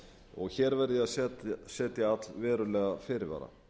og hér verð ég að setja allverulega fyrirvara